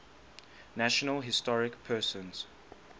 national historic persons